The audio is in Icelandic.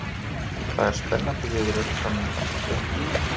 Það er spennandi viðureign framundan á Fylkisvelli.